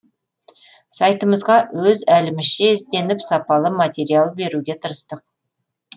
сайтымызға өз әлімізше ізденіп сапалы материалдар беруге тырыстық